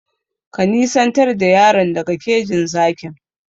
Ka nisantar da yaron daga kejin zakin!